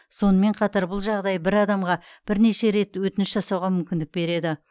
сонымен қатар бұл жағдай бір адамға бірнеше рет өтініш жасауға мүмкіндік береді